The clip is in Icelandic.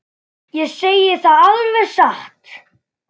Ég segi það alveg satt.